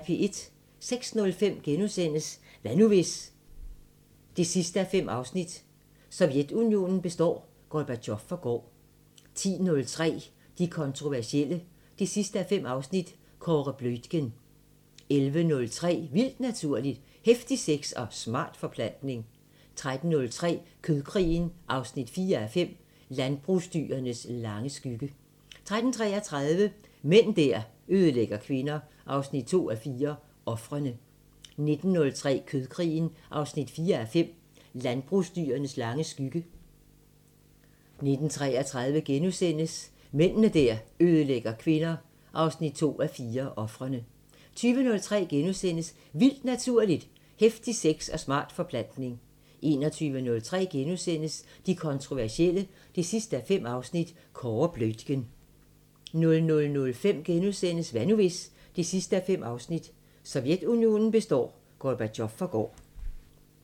06:05: Hvad nu hvis...? 5:5 – Sovjetunionen består, Gorbatjov forgår * 10:03: De kontroversielle 5:5 – Kåre Bluitgen 11:03: Vildt Naturligt: Heftig sex og smart forplantning 13:03: Kødkrigen 4:5 – Landbrugsdyrenes lange skygge 13:33: Mænd der ødelægger kvinder 2:4 – Ofrene 19:03: Kødkrigen 4:5 – Landbrugsdyrenes lange skygge 19:33: Mænd der ødelægger kvinder 2:4 – Ofrene * 20:03: Vildt Naturligt: Heftig sex og smart forplantning * 21:03: De kontroversielle 5:5 – Kåre Bluitgen * 00:05: Hvad nu hvis...? 5:5 – Sovjetunionen består, Gorbatjov forgår *